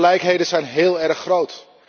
De ongelijkheden zijn heel erg groot.